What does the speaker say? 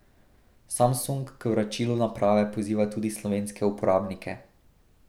Samsung k vračilu naprave poziva tudi slovenske uporabnike.